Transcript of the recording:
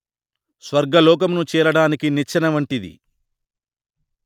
స్వర్గలోకమును చేరడానికి నిచ్చెన వంటిది